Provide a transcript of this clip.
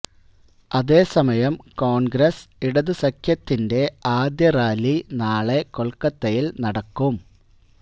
അതേ സമയം കോണ്ഗ്രസ് ഇടത് സഖ്യത്തിന്റെ ആദ്യറാലി നാളെ കൊല്ക്കത്തയില് നടക്കും